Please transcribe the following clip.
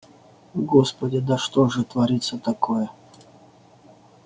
господи да что же творится такое